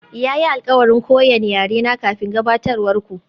Ya yi alkawarin koyan yarena kafin gabatarwar ku.